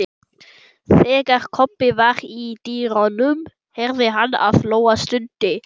Þegar Kobbi var í dyrunum heyrði hann að Lóa stundi